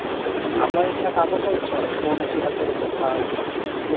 ଆମ ଇଚ୍ଛା କାମ କରୁଛେ ଆମେ phone ଅଛି ହାତରେ କଥା ହେବି ଲୋକ